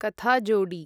कथाजोडी